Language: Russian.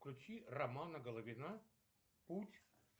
включи романа головина путь